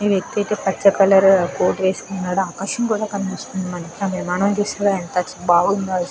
ఈ వ్యక్తి అయితే పచ్చ కలర్ కోట్ వేసుకున్నాడు. ఆకాశం కూడా కనిపిస్తుంది. ఎంత బాగుందో అసల --